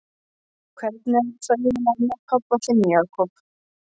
Hvernig er það eiginlega með hann pabba þinn, Jakob?